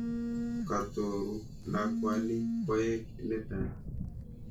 Katuro lakwani, koek netai.